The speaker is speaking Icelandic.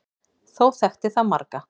Þó þekkti það marga.